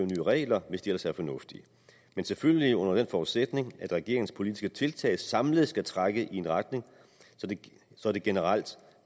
regler hvis de ellers er fornuftige men selvfølgelig under den forudsætning at regeringens politiske tiltag samlet skal trække i en retning så det generelt